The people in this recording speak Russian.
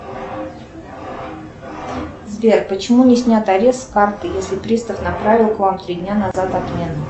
сбер почему не снят арест с карты если пристав направил к вам три дня назад отмену